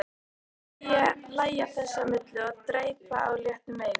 Hlæja þess á milli og dreypa á léttum veigum.